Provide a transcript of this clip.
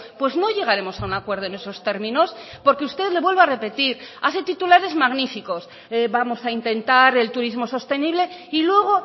pues no llegaremos a un acuerdo en esos términos porque usted le vuelvo a repetir hace titulares magníficos vamos a intentar el turismo sostenible y luego